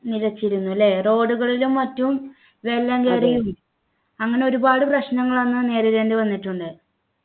നിലച്ചിരുന്നു ല്ലേ road കളിലും മറ്റും വെള്ളം കയറിയും അങ്ങനെ ഒരുപാട് പ്രശ്നങ്ങളന്നു നേരിടേണ്ടി വന്നിട്ടുണ്ട്